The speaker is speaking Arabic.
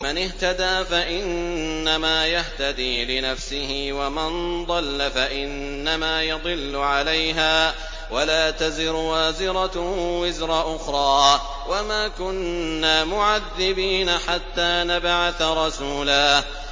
مَّنِ اهْتَدَىٰ فَإِنَّمَا يَهْتَدِي لِنَفْسِهِ ۖ وَمَن ضَلَّ فَإِنَّمَا يَضِلُّ عَلَيْهَا ۚ وَلَا تَزِرُ وَازِرَةٌ وِزْرَ أُخْرَىٰ ۗ وَمَا كُنَّا مُعَذِّبِينَ حَتَّىٰ نَبْعَثَ رَسُولًا